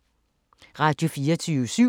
Radio24syv